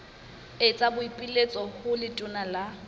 etsa boipiletso ho letona la